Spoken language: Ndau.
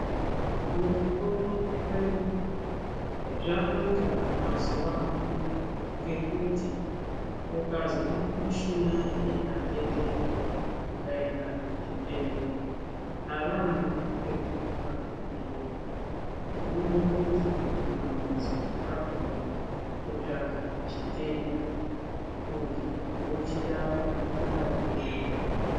Mukupona kwedu zvanaka mazuva ano ngekuti ukazwa mushuna ikatetena ukaenda kuchibhedhlera, havaambi ngekukupa mitombo. Munombohluzwa mumamhatso akona kutsvaka chitenda kuti vochirapa marapirei.